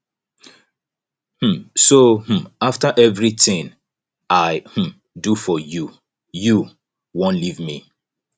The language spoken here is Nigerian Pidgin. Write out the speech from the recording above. um so um after everything i um do for you you wan leave me